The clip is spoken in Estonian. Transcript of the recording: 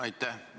Aitäh!